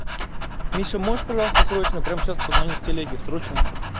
миша можешь пожалуйста срочно прямо сейчас позвонить телеге срочно